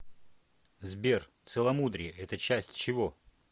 сбер целомудрие это часть чего